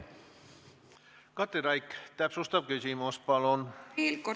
Katri Raik, täpsustav küsimus, palun!